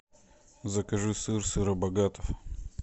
закажи сыр сыробогатов